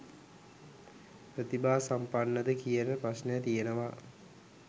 ප්‍රතිභා සම්පන්න ද කියන ප්‍රශ්නය තියෙනවා